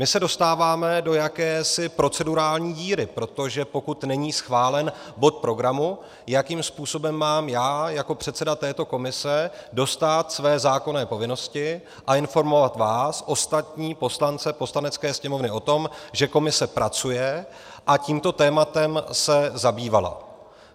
My se dostáváme do jakési procedurální díry, protože pokud není schválen bod programu, jakým způsobem mám já jako předseda této komise dostát své zákonné povinnosti a informovat vás ostatní poslance Poslanecké sněmovny o tom, že komise pracuje a tímto tématem se zabývala?